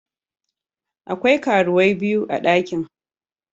Akwai karuwai biyu a dakin.